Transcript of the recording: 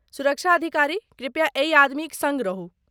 सुरक्षा अधिकारी, कृपया एहि आदमीक सङ्ग रहू।